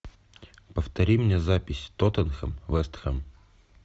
повтори мне запись тоттенхэм вестхэм